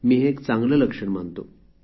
मी हे एक चांगले लक्षण मानतो